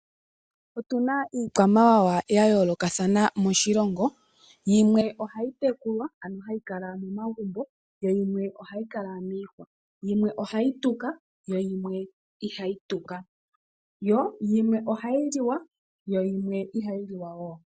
Otuna iikwamawawa ya yoolokathana moshilongo. Yimwe ohayi tekulwa ano hayi kala momagumbo yo yimwe ohayi kala miihwa, yimwe ohayi tuka yimwe ihayi tuka. Yo yimwe ohayi liwa yimwe ihayi liwa wo.